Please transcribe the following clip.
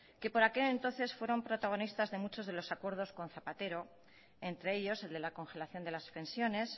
que por aquel entonces fueron protagonistas de mucho de los acuerdos con zapatero entre ellos el de la congelación de las pensiones